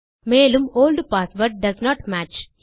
மேலும் old password doesn't match